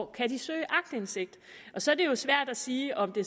kan søge aktindsigt og så er det jo svært at sige om det